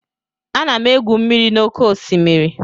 Ana m egwu mmiri n'oké osimiri